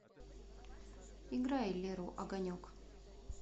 играй леру огонек